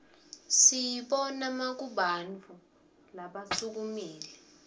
siyibona makubantfu labasuumile